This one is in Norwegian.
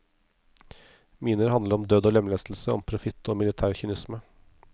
Miner handler om død og lemlestelse, om profitt og militær kynisme.